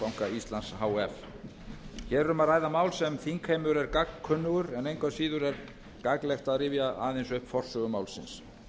íslands h f hér er um að ræða mál sem þingheimur er gagnkunnugur en engu að síður er gagnlegt að rifja aðeins upp forsögu málsins